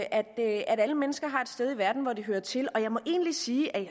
at alle mennesker har et sted i verden hvor de hører til og jeg må egentlig sige at